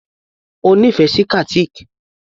O nífẹ̀ẹ́ sí Qatiq?